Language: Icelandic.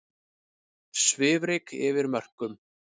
Svifryk yfir mörkum